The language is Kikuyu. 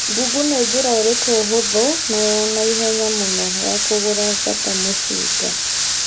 google nĩ njĩra ĩrikũ hũthu na ya naihenya mũno ya kũruga bata mũcinga